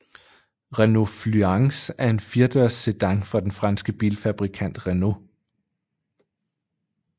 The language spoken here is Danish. Renault Fluence er en firedørs sedan fra den franske bilfabrikant Renault